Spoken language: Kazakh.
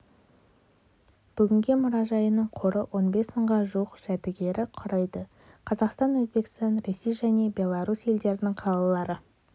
бүгінде мұражайының қоры он бес мыңға жуық жәдігерді құрайды қазақстан өзбекстан ресей және беларусь елдерінің қалалары